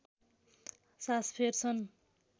सास फेर्छन्